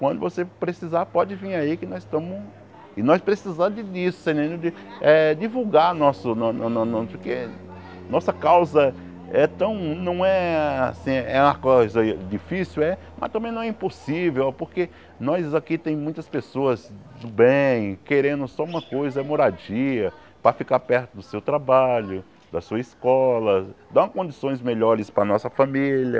Quando você precisar, pode vir aí, que nós estamos... E nós precisamos disso, você está entendendo de eh divulgar nosso no no no... porque nossa causa é tão... não é assim... é uma coisa difícil é, mas também não é impossível, porque nós aqui temos muitas pessoas do bem, querendo só uma coisa, é moradia, para ficar perto do seu trabalho, da sua escola, dar condições melhores para a nossa família,